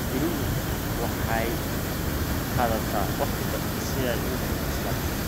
Digirigu waxay qaadataa waqti gaaban si ay u bislaato.